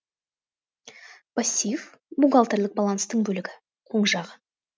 пассив бухгалтерлік баланстың бөлігі оң жағы